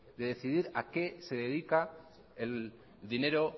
de decidir a qué se dedica el dinero